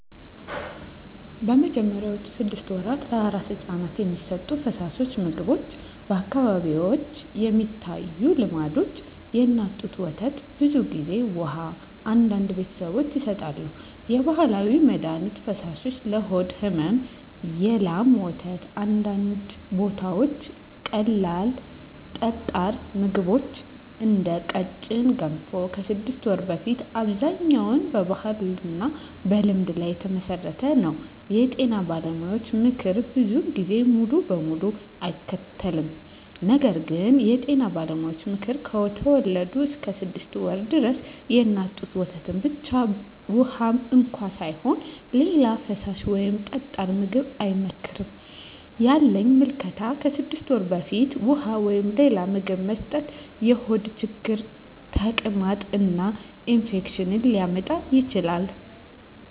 በመጀመሪያዎቹ 6 ወራት ለአራስ ሕፃን የሚሰጡ ፈሳሾች/ምግቦች በአካባቢዎች የሚታዩ ልምዶች፦ የእናት ጡት ወተት (ብዙ ጊዜ) ውሃ (አንዳንድ ቤተሰቦች ይሰጣሉ) የባህላዊ መድሀኒት ፈሳሾች (ለሆድ ሕመም) የላም ወተት (በአንዳንድ ቦታዎች) ቀላል ጠጣር ምግቦች (እንደ ቀጭን ገንፎ) ከ6 ወር በፊት አብዛኛው በባህልና በልምድ ላይ የተመሠረተ ነው የጤና ባለሙያዎች ምክር ብዙ ጊዜ ሙሉ በሙሉ አይከተልም ነገር ግን የጤና ባለሙያዎች ምክር፦ ከተወለዱ እስከ 6 ወር ድረስ የእናት ጡት ወተት ብቻ (ውሃም እንኳ ሳይሆን) ሌላ ፈሳሽ ወይም ጠጣር ምግብ አይመከርም ያለኝ ምልከታ ከ6 ወር በፊት ውሃ ወይም ሌላ ምግብ መስጠት የሆድ ችግር፣ ተቅማጥ እና ኢንፌክሽን ሊያመጣ ይችላል